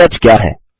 के टच क्या है